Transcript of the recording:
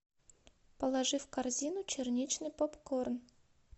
положи в корзину черничный попкорн